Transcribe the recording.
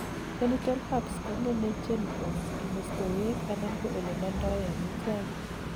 genital herpes kongemei genitals, kimestowek anan ko ole mondoen omitwogik